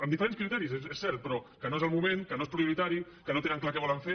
amb diferents criteris és cert però que no és el moment que no és prioritari que no tenen clar què volen fer